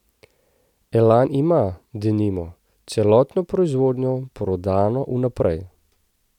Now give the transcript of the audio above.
Elan ima, denimo, celotno proizvodnjo prodano vnaprej.